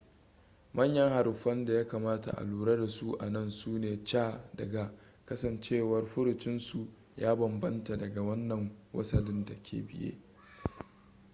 manyan haruffan da ya kamata a lura da su a nan sune c da g kasancewar furucinsu ya banbamta daga wannan wasalin da ke biye